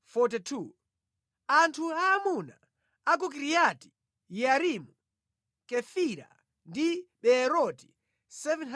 Anthu aamuna a ku Kiriati Yearimu, Kefira ndi Beeroti 743